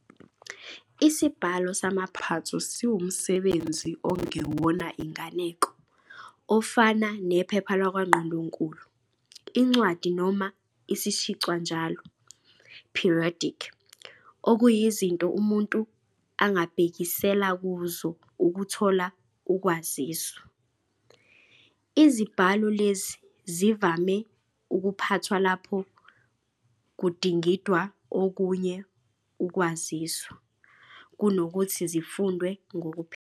Isibhalo samaphatho siwumsebenzi ongeyona inganeko, ofana nephepha lwakwaNgqondonkulu, incwadi noma isishicwanjalo "periodic", okuyizinto umuntu angabhekisela kuzo ukuthola ukwaziswa. Izibhalo lezi zivame "ukuphathwa" lapho kudingidwa okunye ukwaziswa, kunokuthi zifundwe ngokuphelele.